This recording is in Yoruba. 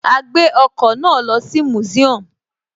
A gbé ọkọ̀ náà lọ sí museum